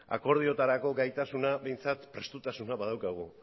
akordiotarako gaitasuna behintzat prestutasuna badaukagu